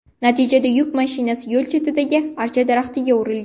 Natijada yuk mashinasi yo‘l chetidagi archa daraxtiga urilgan.